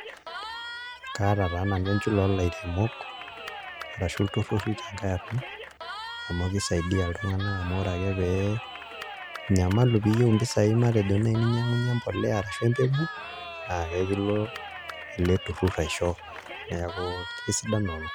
Kaata taa nanu enchula oolairemok arashu ilturruri tenkae arna amu kisaidia iltung'anak amu ore ake pee inyamalu piiyieu mpisaai matejo naai ininyiang'unyie mbolea arashu mbegu naa kakilo ele turrur aisho, neeku kesidan lelo.